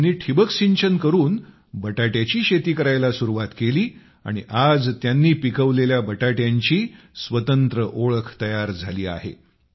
त्यांनी ठिबक सिंचन करून बटाट्याची शेती करायला सुरुवात केली आणि आज त्यांनी पिकवलेल्या बटाट्यांची स्वतंत्र ओळख तयार झाली आहे